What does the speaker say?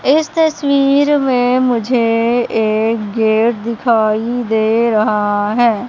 इस तस्वीर मे मुझे एक गेट दिखाई दे रहा है।